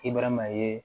Kibaruya ma ye